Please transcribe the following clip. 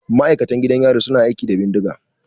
Ma'aikatan gidan yari su na aiki da bindiga.